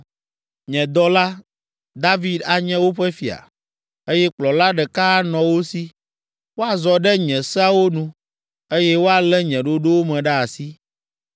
“ ‘Nye dɔla, David anye woƒe fia, eye kplɔla ɖeka anɔ wo si. Woazɔ ɖe nye seawo nu, eye woalé nye ɖoɖowo me ɖe asi.